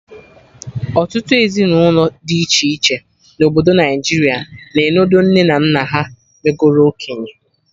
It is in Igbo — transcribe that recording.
Ọtụtụ ezinụlọ dị iche na obodo Naijiria na enodo nne na nna ha megoro okenye